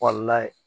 Kɔnɔna ye